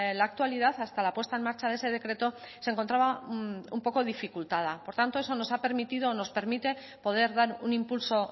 la actualidad hasta la puesta en marcha de ese decreto se encontraba un poco dificultada por tanto eso nos ha permitido o nos permite poder dar un impulso